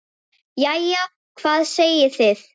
Jæja, hvað segið þið?